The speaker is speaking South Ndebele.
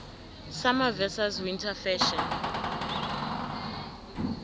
summer versus winter fashion